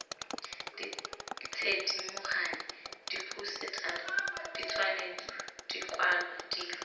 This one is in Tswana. dithedimogane diphousetara ditshwantsho dikwalwa dilo